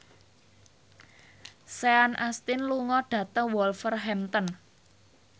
Sean Astin lunga dhateng Wolverhampton